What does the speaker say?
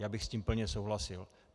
Já bych s tím plně souhlasil.